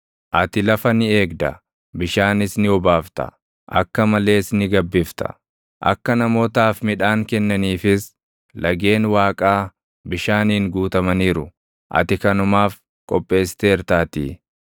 Ati lafa ni eegda; bishaanis ni obaafta; akka malees ni gabbifta; akka namootaaf midhaan kennaniifis lageen Waaqaa bishaaniin guutamaniiru; ati kanumaaf qopheessiteertaatii.